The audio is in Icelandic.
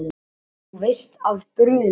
Þú veist að bruna